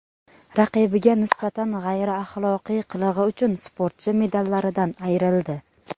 Raqibiga nisbatan g‘ayriaxloqiy qilig‘i uchun sportchi medallaridan ayrildi.